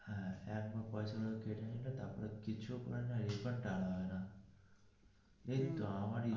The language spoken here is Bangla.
একবার পয়সা গুলো কেটে নিলো কিছুও করে না refund টা আনা হয়না.